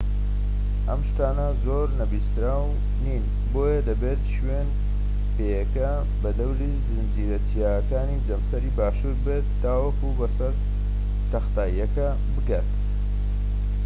ئەم شتانە زۆر نەویستراو نین بۆیە دەبێت شوێنپێکە بە دەوری زنجیرە چیاکانی جەمسەری باشوور بێت تاوەکو بەسەر تەختاییەکە بگات